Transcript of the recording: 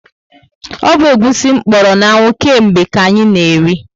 O bu egwusi kpọrọ na anwụ ke mgbe ka anyị ka na eri